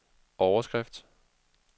overskrift